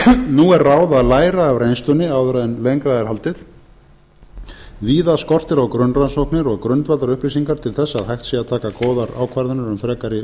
nú er ráð að læra af reynslunni áður en lengra en haldið víða skortir á grunnrannsóknir og grundvallarupplýsingar til þess að hægt sé að taka góðar ákvarðanir um frekari